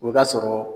O b'a sɔrɔ